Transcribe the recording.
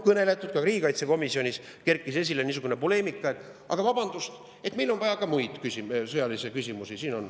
Ka riigikaitsekomisjonis kerkis esile niisugune poleemika, et vabandust, aga meil on ka muid sõjalisi küsimusi.